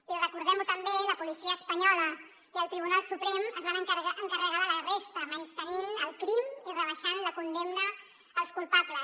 i recordem ho també la policia espanyola i el tribunal suprem es van encarregar de la resta menystenint el crim i rebaixant la condemna als culpables